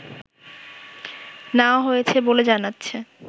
নেয়া হয়েছে বলে জানাচ্ছে